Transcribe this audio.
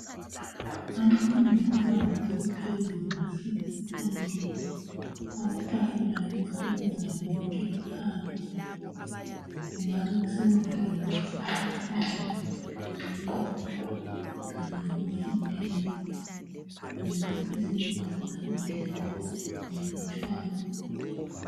Umfundi webanga eliphezulu. Bahlezi phandle. Amatafula lezitulo, konke kuphandle. Kungabe kusenziwa yikuthi abafundi kabeneli, endlini yokufundela. Izindlu zokufundela zinlutshwana.